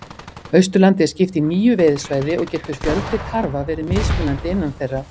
Austurlandi er skipt í níu veiðisvæði og getur fjöldi tarfa verið mismunandi innan þeirra.